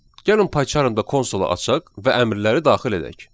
Gəlin PyCharm-da konsolu açaq və əmrləri daxil edək.